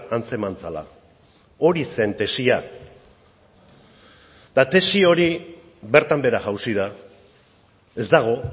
antzeman zela hori zen tesia eta tesi hori bertan behera jauzi da ez dago